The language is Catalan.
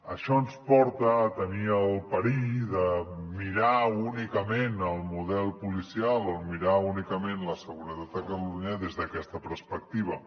això ens porta a tenir el perill de mirar únicament el model policial o mirar únicament la seguretat de catalunya des d’aquesta perspectiva